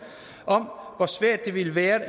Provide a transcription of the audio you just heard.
om hvor svært det ville være